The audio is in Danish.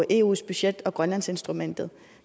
eus budget og grønlandsinstrumentet